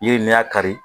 Yiri ni y'a kari